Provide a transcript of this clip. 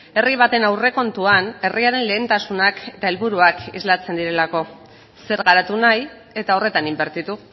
herri baten aurrekontuan herriaren lehentasunak eta helburuak islatzen direlako zer garatu nahi eta horretan inbertitu